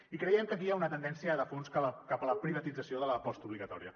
i creiem que aquí hi ha una tendència de fons cap a la privatització de la postobligatòria